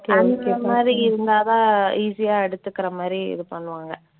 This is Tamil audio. அந்த மாதிரி இருந்தாதான் easy ஆ எடுத்துக்கற மாதிரி இது பண்ணுவாங்க.